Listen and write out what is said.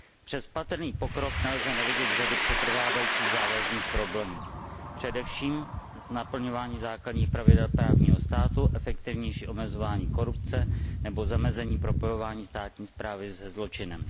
Přes patrný pokrok nelze nevidět řadu přetrvávajících závažných problémů, především naplňování základních pravidel právního státu, efektivnější omezování korupce nebo zamezení propojování státní správy se zločinem.